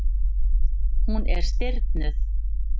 Hún er stirðnuð.